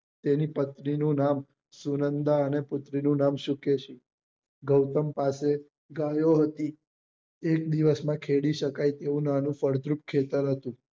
તેની પત્ની નું નામ સોનંદા અને પુત્રી નું શુકેશી ગૌતમ પાસે ગાયો હતી એક દિવસ માં ખેડી સકાય તેવું નાનું ફળદ્રુપ ખેતર હતું